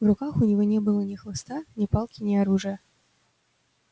в руках у него не было ни хлыста ни палки ни оружия